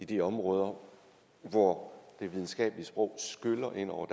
de områder hvor det videnskabelige sprog skyller ind over